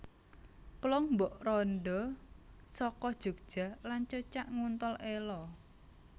Plong Mbok Randha Saka Jogja lan Cocak Nguntal Elo